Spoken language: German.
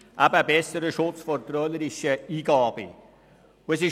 «Besserer Schutz vor trölerischen Eingaben» (M 313-2015).